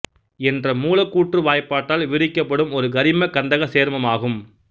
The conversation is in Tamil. என்ற மூலக்கூற்று வாய்ப்பாட்டால் விவரிக்கப்படும் ஒரு கரிம கந்தக சேர்மமாகும்